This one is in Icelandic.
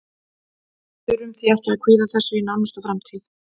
Við þurfum því ekki að kvíða þessu í nánustu framtíð.